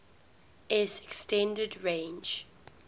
s extended range